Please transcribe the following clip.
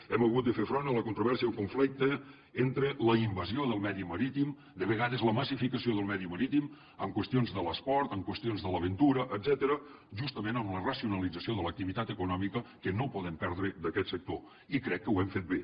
hem hagut de fer front a la controvèrsia i el conflicte entre la invasió del medi marítim de vegades la massificació del medi marítim en qüestions de l’esport en qüestions de l’aventura etcètera justament amb la racionalització de l’activitat econòmica que no podem perdre d’aquest sector i crec que ho hem fet bé